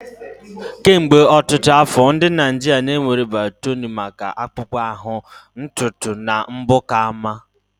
Kemgbe ọtụtụ afọ, ndị Naijiria na-ewere biotini maka akpụkpọ ahụ, ntutu na mbọ ka mma.